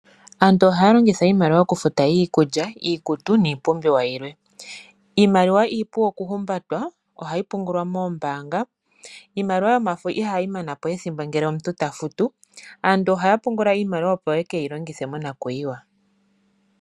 Aantu ohaya longitha iimaliwa okulanda iikulya, iikutu niipumbiwa yilwe. Iimaliwa iipu okuhumbatwa ohayi pungulwa moombaanga. Iimaliwa yomafo ihayi mana po ethimbo ngele omuntu tafutu. Aantu ohaya pungula iimaliwa opo ye ke yilongithe monakuyiwa.